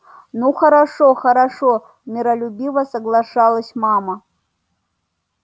ну хорошо хорошо миролюбиво соглашалась мама